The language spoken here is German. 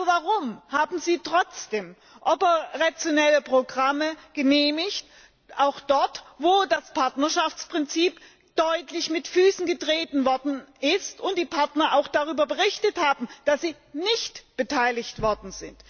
Warum haben Sie trotzdem operationelle Programme genehmigt, auch dort, wo das Partnerschaftsprinzip deutlich mit Füßen getreten wurde und die Partner auch darüber berichtet haben, dass sie nicht beteiligt wurden.